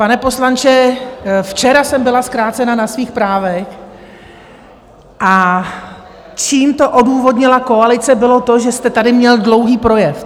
Pane poslanče, včera jsem byla zkrácena na svých právech, a čím to odůvodnila koalice, bylo to, že jste tady měl dlouhý projev.